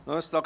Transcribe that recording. Geschäft